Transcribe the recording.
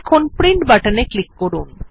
এখন প্রিন্ট বাটনে ক্লিক করুন